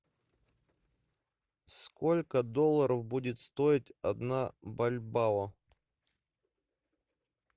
сколько долларов будет стоить одна бальбао